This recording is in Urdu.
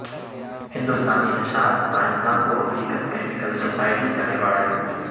ہندوستانی نژاد سائنسدان کو امریکن کیمیکل سوسائٹی کا ایوارڈ